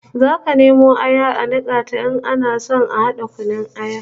Zaka nemo aya a nika ta in ana so a hada kunun aya